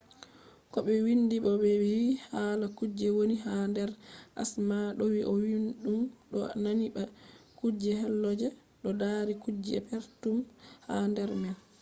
ko ɓe windi bo ɓe wi hala kuje woni ha nder asama ɗo wi ɗum ɗo nandi ba kuje helo je ɗo mari kujeji perpetum ha nder man